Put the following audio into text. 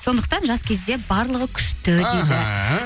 сондықтан жас кезде барлығы күшті дейді аха